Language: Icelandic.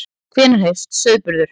Hvenær hefst sauðburður?